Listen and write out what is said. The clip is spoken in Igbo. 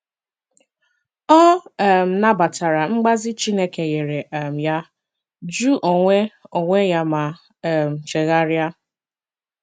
Ọ um nabatara mgbazi Chineke nyere um ya, jụ onwe onwe ya ma um chegharịa.